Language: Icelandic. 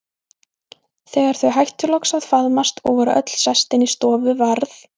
Þegar þau hættu loks að faðmast og voru öll sest inn í stofu varð